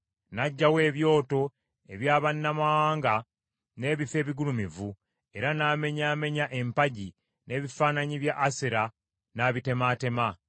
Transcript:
N’aggyawo ebyoto eby’abannamawanga n’ebifo ebigulumivu, era n’amenyaamenya empagi, n’ebifaananyi bya Asera n’abitemaatema.